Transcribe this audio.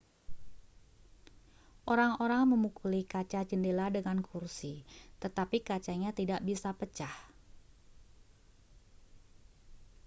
orang-orang memukuli kaca jendela dengan kursi tetapi kacanya tidak bisa pecah